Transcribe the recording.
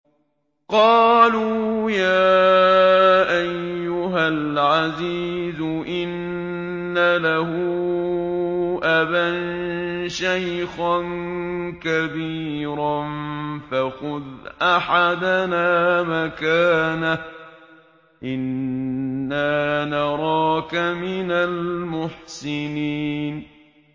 قَالُوا يَا أَيُّهَا الْعَزِيزُ إِنَّ لَهُ أَبًا شَيْخًا كَبِيرًا فَخُذْ أَحَدَنَا مَكَانَهُ ۖ إِنَّا نَرَاكَ مِنَ الْمُحْسِنِينَ